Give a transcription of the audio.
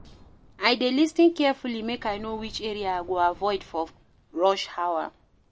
I dey lis ten carefully make I know which area I go avoid for rush hour.